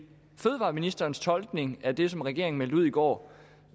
fødevareministerens tolkning af det som regeringen meldte ud i går